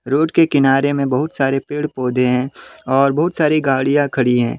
Road के किनारे में बहुत सारे पेड़ पौधे हैं और बहुत सारे गाड़ियां खड़ी है।